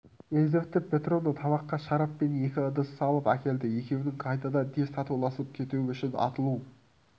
елизавета петровна табаққа шарап пен екі ыдыс салып әкелді екеуіңнің қайтадан тез татуласып кетуің үшін атылу